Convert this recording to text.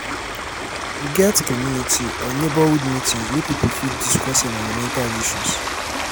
get community or neigbourhood meetings wey pipo fit discuss environmental issues